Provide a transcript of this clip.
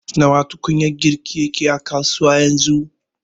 Nawa tukunyar girki yake a kasuwa yanzu